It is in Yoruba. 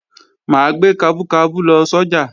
Mà á gbé kabú kabú lọ sọ́jà